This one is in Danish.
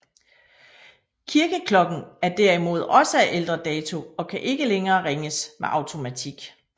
Kirkeklokken er derimod også af ældre dato og kan ikke længere ringes med automatik